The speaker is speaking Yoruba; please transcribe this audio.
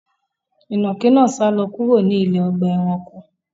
Inákì náà sàlọ̀ kúrò ní ilẹ̀ ọgba ẹ̀ránkò